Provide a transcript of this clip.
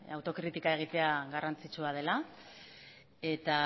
autokritika egitera garrantzitsua dela eta